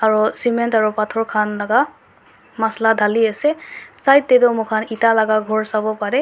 aru cement aru pathor khan laga masala dhali ase side te toh moikhan eta laga ghor sabo pare.